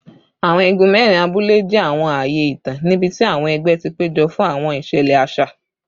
Awọn igun mẹrin abule jẹ awọn aaye itan nibiti awọn ẹgbẹ ti pejọ fun awọn iṣẹlẹ aṣa